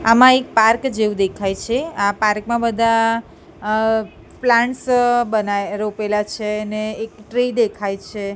આમા એક પાર્ક જેવુ દેખાય છે આ પાર્ક મા બધા અ પ્લાન્ટ્સ બના રોપેલા છે ને એક ટ્રી દેખાય છે.